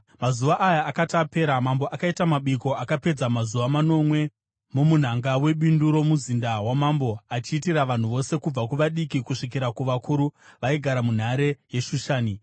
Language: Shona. Mazuva aya akati apera, mambo akaita mabiko akapedza mazuva manomwe, mumunhanga webindu romuzinda wamambo achiitira vanhu vose kubva kuvadiki kusvikira kuvakuru, vaigara munhare yeShushani.